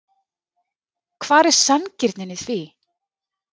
Hvar er sanngirnin í því?